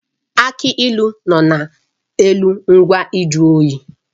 Aki ilu nọ n'elu ngwa nju oyi